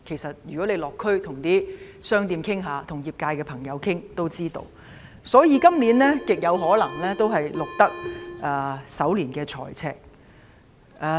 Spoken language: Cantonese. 如果大家落區跟商店及業界朋友傾談也會知道，所以，今年極有可能會錄得首年的財政赤字。